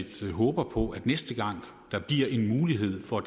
set håbede på at næste gang der bliver mulighed for at